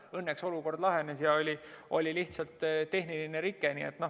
Õnneks olukord lahenes, see oli lihtsalt tehniline rike.